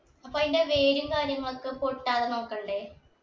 അപ്പൊ അയിന്റെ വേരും കാര്യങ്ങളൊക്കെ പൊട്ടാതെ നോക്കണ്ടേ